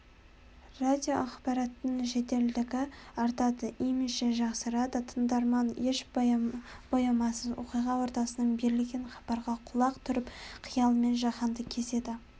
радиоақпараттың жеделдігі артады имиджі жақсарады тыңдарман еш боямасыз оқиға ортасынан берілген хабарға құлақ түріп қиялымен жаһанды кезеді